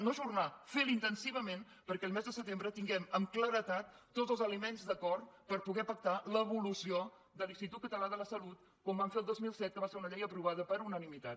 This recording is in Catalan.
no ajornar fer lo intensivament perquè el mes de setembre tinguem amb claredat tots els elements d’acord per poder pactar l’evolució de l’institut català de la salut com vam fer el dos mil set que va ser una llei aprovada per unanimitat